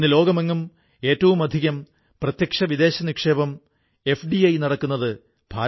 എന്റെ പ്രിയപ്പെട്ട ദേശവാസികളേ ഇന്ന് കാശ്മീരിലെ പുൽവാമ രാജ്യത്തെ മുഴുവൻ പഠിപ്പിക്കുന്നതിൽ മഹത്തായ പങ്കു വഹിക്കുകയാണ്